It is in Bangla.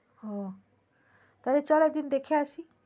ও তাহলে চলো একদিন দেখে আসি